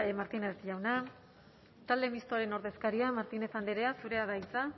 martínez jauna talde mistoaren ordezkaria martínez andrea zurea da hitza